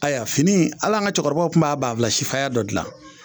Ayiwa fini hali an ka cɛkɔrɔbaw tun b'a banfula sifaya dɔ dilan